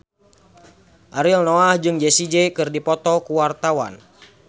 Ariel Noah jeung Jessie J keur dipoto ku wartawan